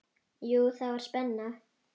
Jú, það var spenna.